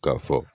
K'a fɔ